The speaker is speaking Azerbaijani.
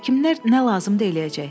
Həkimlər nə lazımdır eləyəcək.